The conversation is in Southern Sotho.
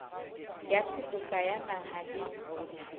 ya seboka ya naha le